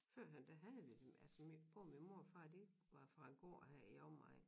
Førhen der havde vi dem altså min både min mor og far de var far en gård her i omegnen